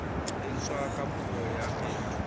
etswa ka puo ya kgetho